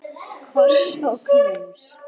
Koss og knús.